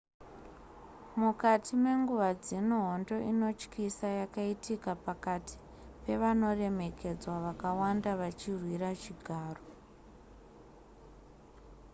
mukati menguva dzino hondo inotyisa yakaitika pakati pevanoremekedzwa vakawanda vachirwira chigaro